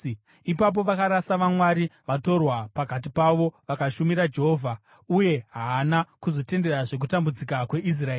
Ipapo vakarasa vamwari vatorwa pakati pavo vakashumira Jehovha. Uye haana kuzotenderazve kutambudzika kweIsraeri.